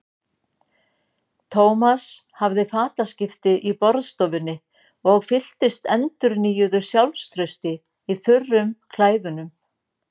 Thomas hafði fataskipti í borðstofunni og fylltist endurnýjuðu sjálfstrausti í þurrum klæðunum.